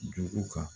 Dugu kan